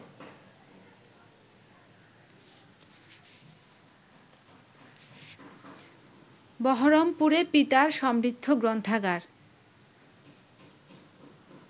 বহরমপুরে পিতার সমৃদ্ধ গ্রন্থাগার